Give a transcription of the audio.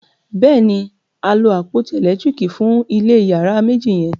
béèni a lo àpótí elekitiriki fun ilé iyàrá méjì yen.